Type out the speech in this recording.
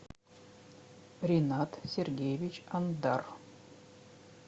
ренат сергеевич андар